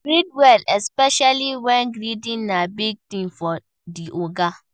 Greet well especially when greeting na big thing for di oga